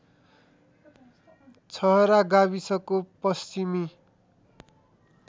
छहरा गाविसको पश्चिमी